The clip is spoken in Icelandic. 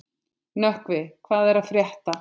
Nökkvi, hvað er að frétta?